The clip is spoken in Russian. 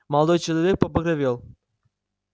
молодой человек побагровел